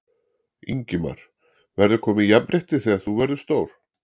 Ingimar: Verður komið jafnrétti þegar þú verður stór?